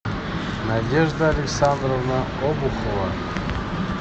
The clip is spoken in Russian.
надежда александровна обухова